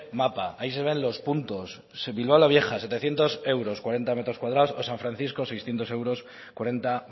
mapa ahí se ven los puntos bilbao la vieja setecientos euros cuarenta metros cuadrados o san francisco seiscientos euros cuarenta